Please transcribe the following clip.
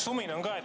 Sumin on ka.